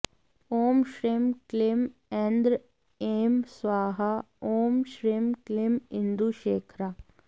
ॐ श्रीं क्लीं ऐन्द्रि ऐं स्वाहा ॐ श्रीं क्लीं इन्दुशेखरा